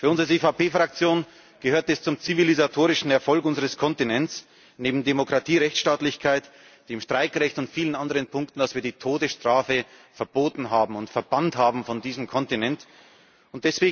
Für uns als EVP Fraktion gehört es zum zivilisatorischen Erfolg unseres Kontinents, neben Demokratie, Rechtsstaatlichkeit, dem Streikrecht und vielen anderen Punkten, dass wir die Todesstrafe verboten und von diesem Kontinent verbannt haben.